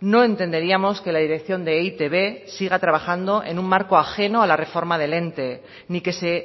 no entenderíamos que la dirección de e i te be siga trabajando en un marco ajeno a la reforma del ente ni que se